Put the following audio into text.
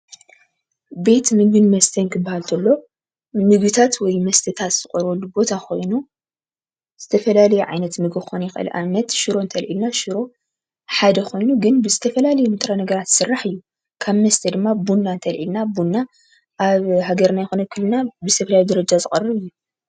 ቤት ምግብን መስተን ክባሃል ተሎ ንምግብታት ወይ መስተታት ዝቀርበሉ ቦታ ኮይኑ ዝተፈላለየ ዓይነት ምግብ ክኮን ይክእል ንኣብነት ሽሮ እንተልዕልና ሽሮ ሓደ ኮይኑ ግን ብዝተፈላለየ ብጥረ ነገራት ዝስራሕ እዩ። ካብ መስተ ድማ ቡና እንተልዕልና ቡና ኣብ ሃገርና ይኩን ኣብ ክልልና ብዝተፈላለየ ደረጃ ዝቀርብ እዩ።